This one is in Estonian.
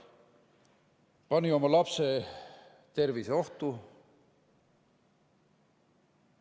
Pani oma lapse tervise ohtu.